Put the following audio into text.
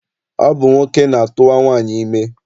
Ọ bụ nwoke na-atụwa nwaanyị ime.